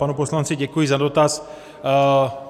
Panu poslanci děkuji za dotaz.